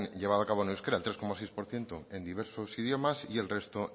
llevado a cabo en euskera el dos coma seis por ciento en diversos idiomas y el resto